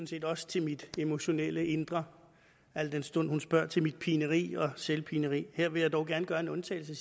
set også til mit emotionelle indre al den stund hun spørger til mit pineri og selvpineri her vil jeg dog gerne gøre en undtagelse